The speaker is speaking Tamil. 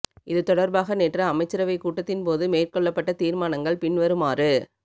இது தொடர்பாக நேற்று அமைச்சரவை கூட்டத்தின் போது மேற்கொள்ளப்பட்ட தீர்மானங்கள் பின்வருமாறு